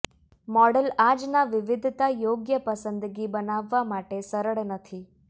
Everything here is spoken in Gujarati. મોડલ આજના વિવિધતા યોગ્ય પસંદગી બનાવવા માટે સરળ નથી